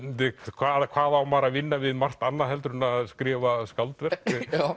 hvað hvað á maður að vinna við margt annað heldur en að skrifa skáldverk